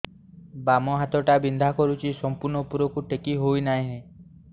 ବାମ ହାତ ଟା ବିନ୍ଧା କରୁଛି ସମ୍ପୂର୍ଣ ଉପରକୁ ଟେକି ହୋଉନାହିଁ